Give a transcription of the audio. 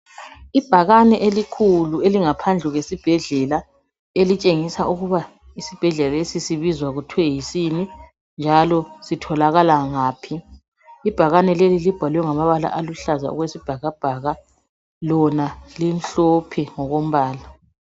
Ibhakane elikhulu elingaphandle kwesibhedlela elitshengisa ukuba isibhedlela lesi sibizwa kuthwe yisini, njalo sitholakala ngaphi. Ibhakane leli libhalwe ngamabala aluhlaza okwesibhakabhaka, lona limhlophe ngokombala.